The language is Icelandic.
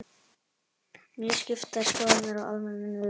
Mjög skiptar skoðanir á almennri niðurfellingu